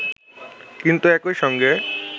কিন্তু একই সঙ্গে